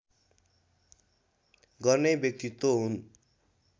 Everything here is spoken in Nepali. गर्ने व्यक्तित्व हुन्